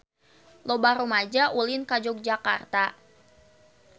Loba rumaja ulin ka Yogyakarta